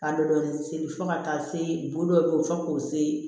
Ka dɔ dɔɔnin seri fo ka taa se bulu dɔw be yen fo k'u se